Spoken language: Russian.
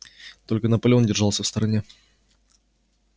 только наполеон держался в стороне